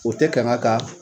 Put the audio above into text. O tɛ kanga ka